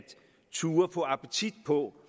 turde få appetit på